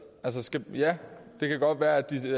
ja det kan godt være at de